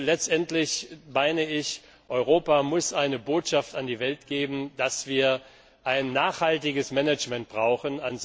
Letztendlich bin ich der Ansicht Europa muss die Botschaft an die Welt senden, dass wir ein nachhaltiges Management brauchen.